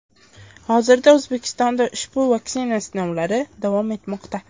Hozirda O‘zbekistonda ushbu vaksina sinovlari davom etmoqda.